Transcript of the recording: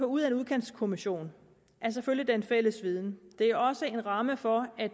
ud af en udkantskommission er selvfølgelig den fælles viden det er også en ramme for at